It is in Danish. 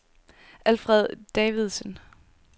Alfred Davidsen